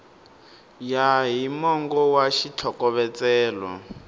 ya hi mongo wa xitlhokovetselo